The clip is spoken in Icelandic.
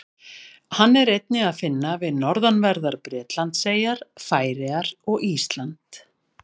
Hann er einnig að finna við norðanverðar Bretlandseyjar, Færeyjar og Ísland.